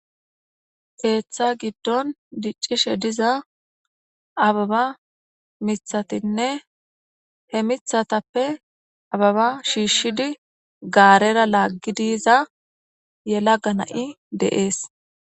Ketha gidon dicishe diza abeba mithatinne he mithatappe abeba shiishid garera lagid yiza yelaga na'ay de'es.